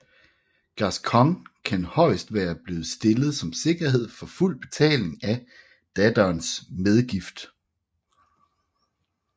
Gascogne kan højest være blevet stillet som sikkerhed for fuld betaling af datterens medgift